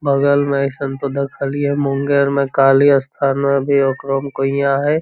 बगल में एसन तो देखल लिए हेय मुंगेर में काली स्थान में भी ओकरो में कुइयां हेय।